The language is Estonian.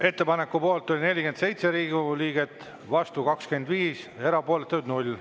Ettepaneku poolt oli 47 Riigikogu liiget, vastu 25, erapooletuid oli 0.